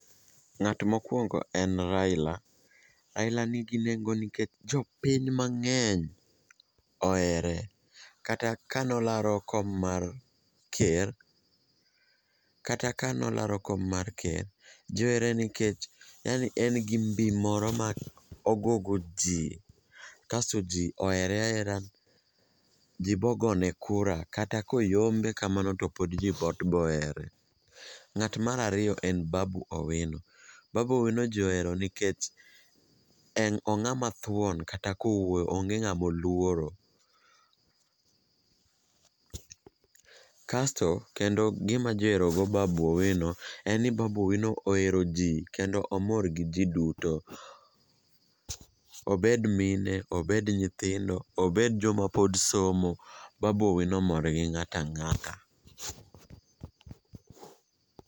Ng'at mokuongo en Raila, Raila nigi nengo nikech jopiny mang'eny ohere. Kata kane olaro kom mar ker kata kane olaro kom mar ker ji ohere nikech yani en gi mbi moro ma ogogoji kasto ji ohere ahera ji bogone kura kata ka oyombe kamano to pod ji pod bohere.Ng'at mar ariyo en Babu Owino. Babu Owino jii ohero nikech en ong'ama thuon kata kowuoyo onge ng'ama oluoro. Kasto kendo gima ji oherogo Babu Owino en ni Babu Owino oheroji kendo omor gi jii duto. Obed mine, obed nyithindo, obed joma pod somo, Babu Owino mor gi ng'ata ang'ata.